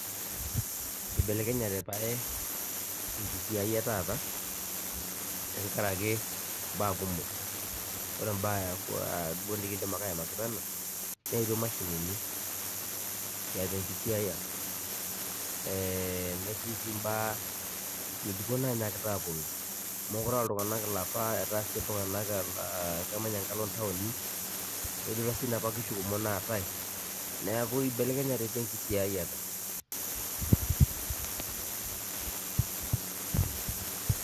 Ibelekenyete pae enkisiai etaata, tenkaraki imbaa kumok. Ore mbaa duo nikidim ake aimaki peno, neetuo mashinini tiatua enkisiaya, netii si mbaa ng'ejuko nanyaakita aponu. Mokure ah iltung'anak ilapa etaa si iltung'anak kemanya enkalo ntaoni, nidurra si napa kishu kumok naatae. Neeku Ibelekenyete pi enkisiaiyiata.